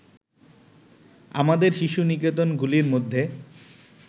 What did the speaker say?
আমাদের শিশু-নিকেতনগুলির মধ্যে